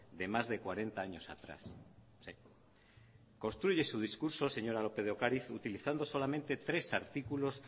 de más de cuarenta años atrás construye su discurso señora lópez de ocariz utilizando solamente tres artículos